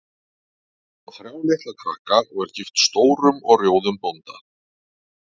Hún á þrjá litla krakka og er gift stórum og rjóðum bónda.